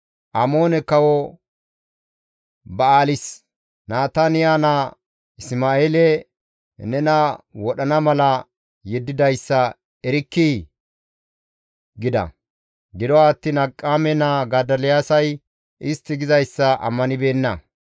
«Amoone Kawo Ba7aalisi Nataniya naa Isma7eele nena wodhana mala yeddidayssa erkkii?» gida. Gido attiin Akiqaame naa Godoliyaasay istti gizayssa ammanibeenna.